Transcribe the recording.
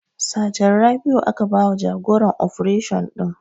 Sajan Rabiu aka ba wa jagoran ofration ɗin